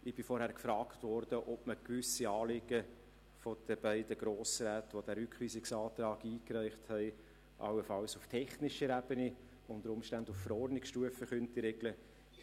Vorhin bin ich gefragt worden, ob man gewisse Anliegen der beiden Grossräte, die den Rückweisungsantrag eingereicht haben, allenfalls auf technischer Ebene, unter Umständen auf Verordnungsebene regeln könne.